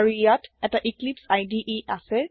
আৰু ইয়াত এটা এক্লিপছে ইদে আছে